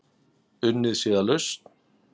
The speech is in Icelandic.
Unnið sé að lausn.